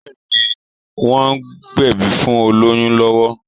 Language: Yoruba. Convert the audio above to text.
Bẹ́ẹ̀̀ni, wọ́n ń gbẹ̀bí fún olóyún lọ́wọ́